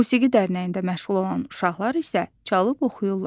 Musiqi dərnəyində məşğul olan uşaqlar isə çalıb oxuyurlar.